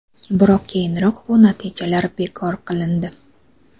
Biroq keyinroq bu natijalar bekor qilindi.